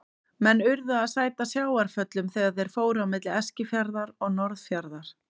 Menn urðu að sæta sjávarföllum þegar þeir fóru á milli Eskifjarðar og Norðfjarðar.